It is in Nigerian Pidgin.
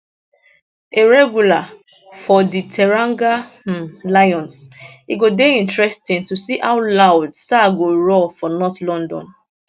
a regular for di teranga um lions e go dey interesting to see how loud sarr go roar for north london